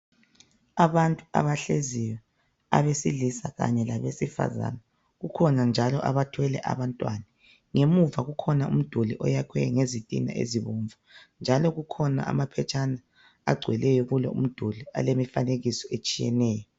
abantu abahleziyo abesilisa kanye labesifazana kukhona njalo abathwele abantwana ngemuva kukhona umduli oyakhwe ngezitina ezibomvu njalo akhona amaphetshana agcweleyo kulowu umduli alemifanekiso etshiyeneyo